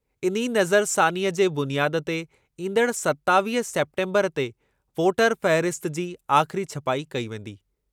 इन ई नज़रसानीअ जी बुनियाद ते ईंदड़ु सतावीह सेप्टेम्बरु ते वोटर फ़हरिस्त जो आख़िरी छपाई कई वेंदी।